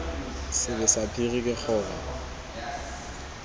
sebe sa phiri ke gore